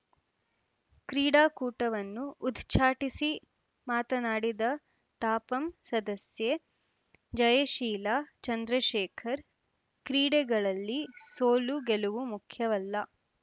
ಕ್ರೀಡಾಕೂಟವನ್ನು ಉದ್ಚಾಟಿಸಿ ಮಾತನಾಡಿದ ತಾಪಂ ಸದಸ್ಯೆ ಜಯಶೀಲ ಚಂದ್ರಶೇಖರ್‌ ಕ್ರೀಡೆಗಳಲ್ಲಿ ಸೋಲು ಗೆಲುವು ಮುಖ್ಯವಲ್ಲ